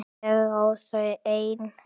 Ég á þau ein.